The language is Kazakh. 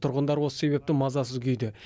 тұрғындар осы себепті мазасыз күйде